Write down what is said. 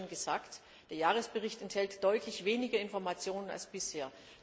Ich habe es schon gesagt Der Jahresbericht enthält deutlich weniger Informationen als bisher.